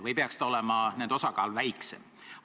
Või peaks olema nende osakaal väiksem?